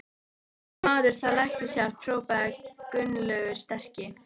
Þessi maður þarf læknishjálp hrópaði Gunnlaugur sterki.